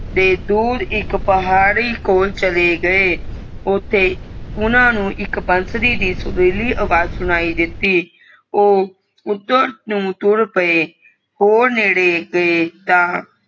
ਤੇ ਦੂਰ ਇਕ ਪਹਾੜੀ ਕੋਲ ਚਲੇ ਗਏ ਓਥੇ ਓਹਨਾ ਇਕ ਬਾਂਸੁਰੀ ਦੀ ਸੁਰੀਲੀ ਅਵਾਜ ਸੁਣਾਈ ਦਿੱਤੀ ਓ ਉੱਤੇ ਨੂੰ ਤੁਰ ਪਏ ਹੋਰ ਨੇੜੇ ਗਏ ਤਾਂ